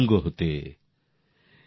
শুই সুতো পর্যন্ত আসে তুঙ্গ হতে